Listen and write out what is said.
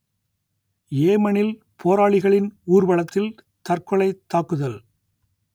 யேமனில் போராளிகளின் ஊர்வலத்தில் தற்கொலைத் தாக்குதல்